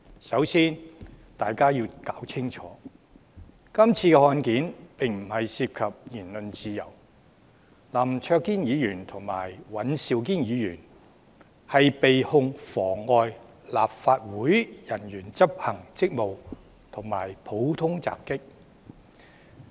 首先，大家要弄清楚，這宗案件不涉及言論自由，林卓廷議員和尹兆堅議員的控罪是妨礙立法會人員執行職務和普通襲擊。